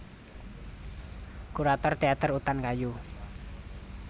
Kurator Teater Utan Kayu